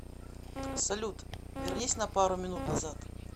салют вернись на пару минут назад